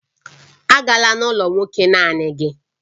Agala n'ụlọ nwoke naanị gị!